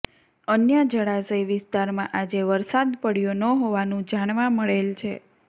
અન્ય જળાશય વિસ્તારમાં આજે વરસાદ પડયો ન હોવાનુ જાણવા મળેલ છે